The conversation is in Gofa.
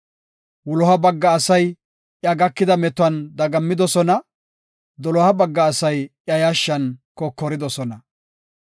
Wuloha bagga asay, iya gakida metuwan dagammidosona; doloha bagga asay yashshan kokoridosona.